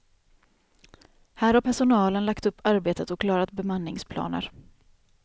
Här har personalen lagt upp arbetet och klarat bemanningsplaner.